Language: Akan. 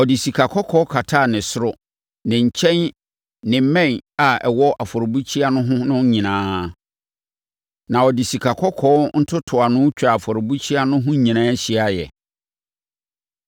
Ɔde sikakɔkɔɔ kataa ne soro, ne nkyɛn ne mmɛn a ɛwɔ afɔrebukyia no ho no nyinaa. Na ɔde sikakɔkɔɔ ntotoano twaa afɔrebukyia no ho nyinaa hyiaeɛ.